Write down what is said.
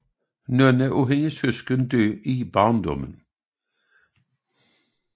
Nogle af hendes søskende døde i barndommen